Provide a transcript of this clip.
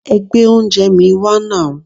Ẹ gbé oúnjẹẹ̀ mi wá nàú!